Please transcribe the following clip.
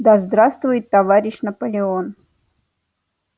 да здравствует товарищ наполеон